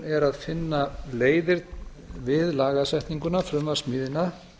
er að finna leiðir við lagasetninguna frumvarpssmíðina